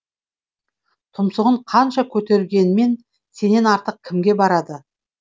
тұмсығын қанша көтергенмен сенен артық кімге барады